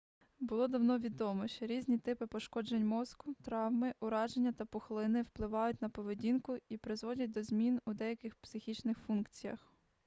було давно відомо що різні типи пошкоджень мозку травми ураження та пухлини впливають на поведінку і призводять до змін у деяких психічних функціях